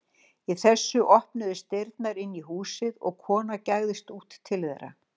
Í þessu opnuðust dyrnar inn í húsið og kona gægðist út til þeirra.